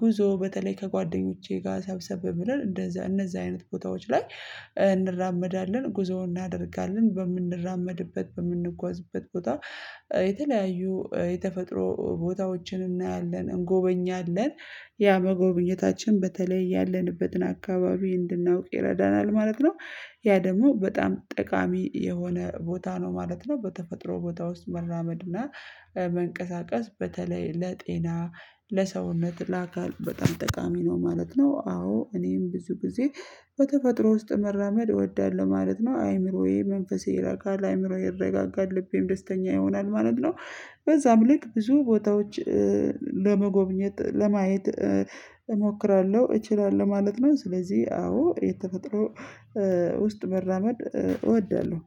ጉዞ በተለይ ከጓደኞቼ ጋር ሰብሰብ ብለን እንደዛ እነዛ አይነት ቦታዎች ላይ እንራመዳለን ጉዞውን እናደርጋለን በምንራመድበት በምንጓዝበት ቦታ የተለያዩ የተፈጥሮ ቦታዎችን እናያለን እንጎበኛለን። ያ መጎብኘታችን በተለይ ያለንበትን አካባቢ እንድናውቅ ይረዳናል ማለት ነው። ያ ደግሞ በጣም ጠቃሚ የሆነ ቦታ ነው ማለት ነው። በተፈጥሮ ቦታ ውስጥ መራመድና መንቀሳቀስ በተለይ ለጤና ለሰውነት ለአካል በጣም ጠቃሚ ነው ማለት ነው። አዎ እኔም ብዙ ጊዜ በተፈጥሮ ውስጥ መራመድ እወዳለሁ ማለት ነው። አእምሮዬ መንፈሴ ይረጋጋል አእምሮዬ ይረጋጋል ልቤም ደስተኛ ይሆናል ማለት ነው በዛም ልክ ብዙ ቦታዎች ለመጎብኘት ለማየት እሞክራለሁ እችላለሁ ማለት ነው። ስለዚህ አዎ የተፈጥሮ ውስጥ መራመድ እወዳለሁ